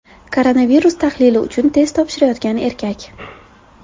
Koronavirus tahlili uchun test topshirayotgan erkak.